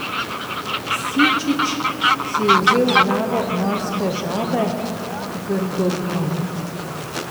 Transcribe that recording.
Sičič si je vzel glavo morske žabe, grdobine.